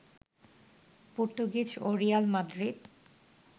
Portuguese ও Real Madrid